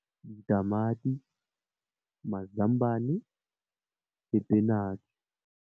Ditamati, mazambane le spinach.